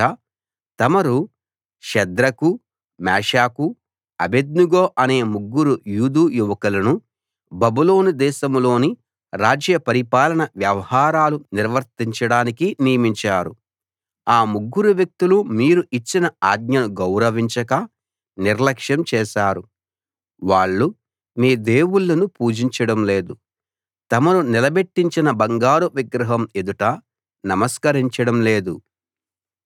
రాజా తమరు షద్రకు మేషాకు అబేద్నెగో అనే ముగ్గురు యూదు యువకులను బబులోను దేశంలోని రాజ్య పరిపాలన వ్యవహారాలు నిర్వర్తించడానికి నియమించారు ఆ ముగ్గురు వ్యక్తులు మీరు ఇచ్చిన ఆజ్ఞను గౌరవించక నిర్లక్ష్యం చేశారు వాళ్ళు మీ దేవుళ్ళను పూజించడం లేదు తమరు నిలబెట్టించిన బంగారు విగ్రహం ఎదుట నమస్కరించడం లేదు